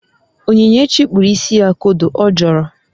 Onyinyechi kpuru isi ya kodo, ọ jọọrọ